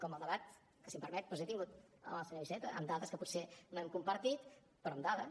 com el debat que si em permet doncs he tingut amb el senyor iceta amb dades que potser no hem compartit però amb dades